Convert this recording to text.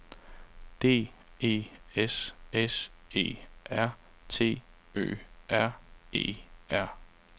D E S S E R T Ø R E R